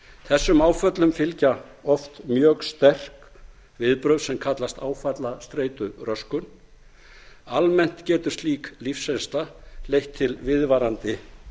þessum áföllum fylgja oft mjög sterk viðbrögð sem kallast áfallastreituröskun almennt getur slík lífsreynsla leitt til viðvarandi